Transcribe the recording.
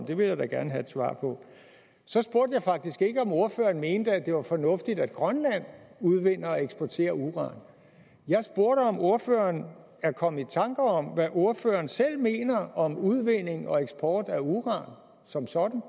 det vil jeg da gerne have et svar på så spurgte jeg faktisk ikke om ordføreren mente at det var fornuftigt at grønland udvinder og eksporterer uran jeg spurgte om ordføreren er kommet i tanke om hvad ordføreren selv mener om udvinding og eksport af uran som sådan